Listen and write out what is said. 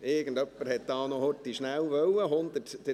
Irgendjemand wollte hier noch schnell ...